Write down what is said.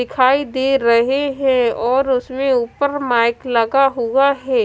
दिखाई दे रहे हैं और उसमें ऊपर माइक लगा हुआ हे।